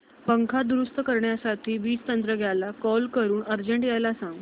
पंखा दुरुस्त करण्यासाठी वीज तंत्रज्ञला कॉल करून अर्जंट यायला सांग